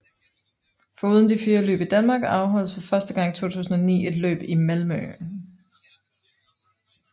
Foruden de fire løb i Danmark afholdes for første gang i 2009 et løb i Malmö